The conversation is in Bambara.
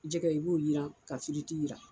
Jɛgɛ i b'o jiran ka firiti jiran